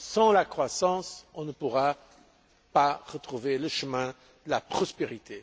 Sans la croissance, on ne pourra pas retrouver le chemin de la prospérité.